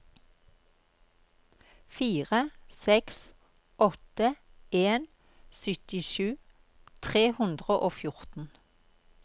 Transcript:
fire seks åtte en syttisju tre hundre og fjorten